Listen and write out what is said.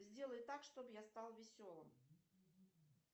сделай так чтоб я стал веселым